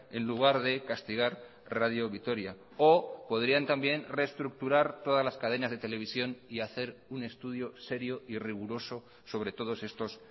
en lugar de castigar radio vitoria o podrían también reestructurar todas las cadenas de televisión y hacer un estudio serio y riguroso sobre todos estos